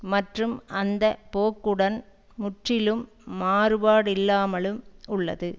மற்றும் அந்த போக்குடன் முற்றிலும் மாறுபாடில்லாமலும் உள்ளது